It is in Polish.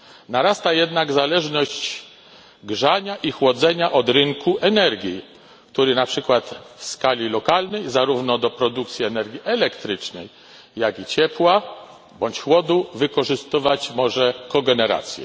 Narasta jednak zależność grzania i chłodzenia od rynku energii, który na przykład w skali lokalnej, zarówno do produkcji energii elektrycznej, jak i ciepła bądź chłodu wykorzystywać może kogenerację.